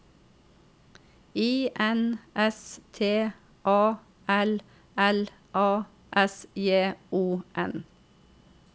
I N S T A L L A S J O N